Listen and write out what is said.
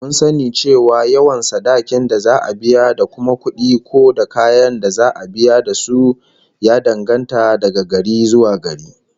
Mun sani cewa yawan sadakin da za'a biya da kuma kudi ko kayan da za'a biya da su, ya danganta daga gari zuwa gari